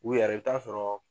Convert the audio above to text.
U yɛrɛ i bi t'a sɔrɔ.